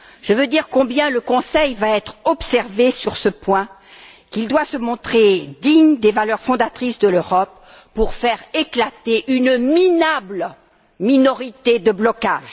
Je veux dire combien le Conseil va être observé sur ce point, qu'il doit se montrer digne des valeurs fondatrices de l'Europe pour faire éclater une minable minorité de blocage.